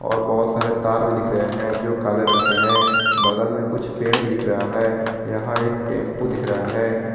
और बहोत सारे तार भी दिख रहे हैं जो काले रंग के हैं बगल में कुछ पेड़ भी दिख रहा है यहां एक टेम्पू दिख रहा है।